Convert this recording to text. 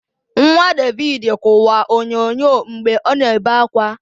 Nwa David kụwa onyonyo mgbe ọ na-ebe akwa